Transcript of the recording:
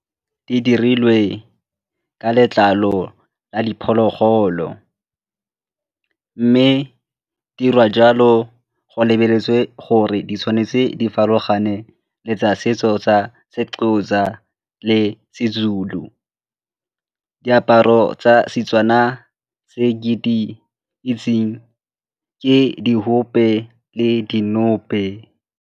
Di dirilwe ka letlalo la diphologolo mme di dirwa jalo go lebeletswe gore di tshwanetse di farologane le tsa setso tsa Sexhosa le SeZulu. Diaparo tsa Setswana tse ke di itseng ke di .